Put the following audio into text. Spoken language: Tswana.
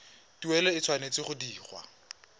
tuelo e tshwanetse go dirwa